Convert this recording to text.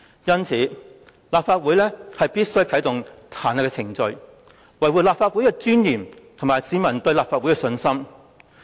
因此，立法會必須啟動彈劾程序，以維護立法會的尊嚴和市民對立法會的信心。